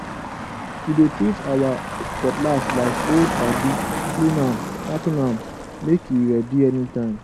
we dey treat our cutlass like old padi clean am sharpen am make e ready anytime